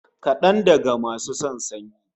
Kadangaru basu son sanyi